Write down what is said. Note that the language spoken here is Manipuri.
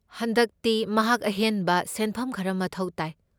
ꯍꯟꯗꯛꯇꯤ ꯃꯍꯥꯛ ꯑꯍꯦꯟꯕ ꯁꯦꯟꯐꯝ ꯈꯔ ꯃꯊꯧ ꯇꯥꯏ꯫